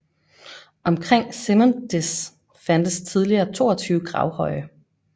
Omkring Simondys fandtes tidligere 22 gravhøje